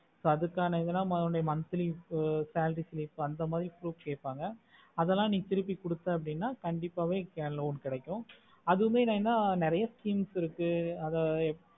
அதுக்கான இதுதா monthly salary அந்த proof கைப்பாங்க அதல திருப்பி குடுத்த அப்படினா கண்டிப்பா அதுக்கான loan கடைக்கும் அதுவும் என்னனா நேரிய scheme இருக்கு அதை